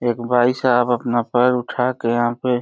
एक भाईसाब अपना पैर उठाके यहाँ पे --